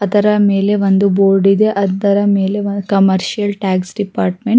ಅದರ ಮೇಲೆ ಒಂದು ಬೋರ್ಡ್ ಇದೆ ಅದರ ಮೇಲೆ ಒಂದು ಕಮರ್ಷಿಯಲ್ ಟ್ಯಾಕ್ಸ್ ಡಿಪಾರ್ಟ್ಮೆಂಟ್ --